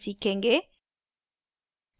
हम सीखेंगे